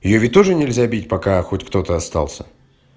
её ведь тоже нельзя бить пока хоть кто-то остался